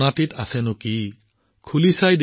মোনাটোত এটা সুন্দৰ বাটি আছিল